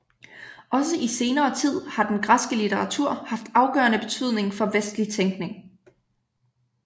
Også i senere tid har den græske litteratur haft afgørende betydning for vestlig tænkning